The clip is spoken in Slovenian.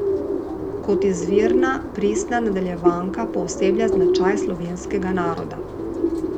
Kot izvirna, pristna nadaljevanka pooseblja značaj slovenskega naroda.